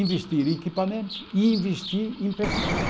Investir em equipamento e investir em pessoal.